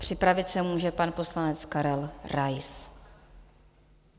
Připravit se může pan poslanec Karel Rais.